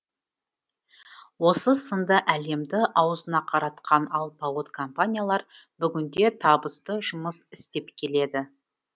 осы сынды әлемді аузына қаратқан алпауыт компаниялар бүгінде табысты жұмыс істеп келеді